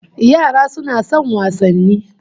Yara suna son wasanni